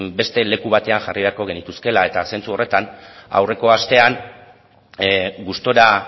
beste leku batean jarri beharko genituzkeela eta zentzu horretan aurreko astean gustura